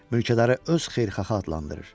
Mülkədarı öz xeyirxahı adlandırır.